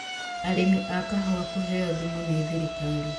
Arĩmi a kahũa kũheo thumu nĩ thirikari